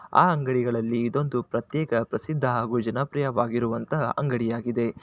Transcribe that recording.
ಆ ಅಂಗಡಿಗಳಲ್ಲಿ ಇದು ಅಂತೂ ಪ್ರತ್ಯೇಕ ಪ್ರಸಿದ್ಧ ಹಾಗೂ ಜನಪ್ರಿಯವಾಗಿರುವಂತಹ ಅಂಗಡಿ ಆಗಿದೆ